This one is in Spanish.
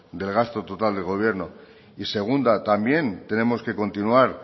del gasto total de gobierno y segunda también tenemos que continuar